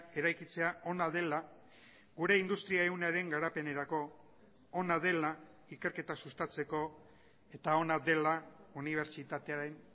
eraikitzea ona dela gure industria ehunaren garapenerako ona dela ikerketa sustatzeko eta ona dela unibertsitatearen